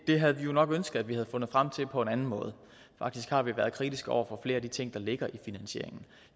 den havde vi jo nok ønsket at man havde fundet frem til på en anden måde faktisk har vi været kritiske over for flere af de ting der ligger i finansieringen